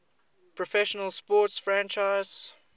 professional sports franchise